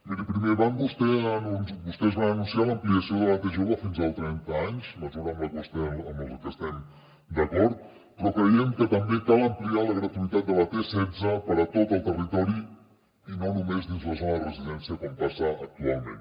miri primer vostès van anunciar l’ampliació de la t jove fins als trenta anys mesura amb la que estem d’acord però creiem que també cal ampliar la gratuïtat de la t setze per a tot el territori i no només dins la zona de residència com passa actualment